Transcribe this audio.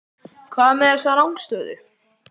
Hvað er með þessa rangstöðu?